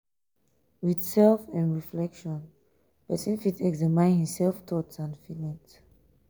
with self um reflection person fit examine im self thoughts and feelings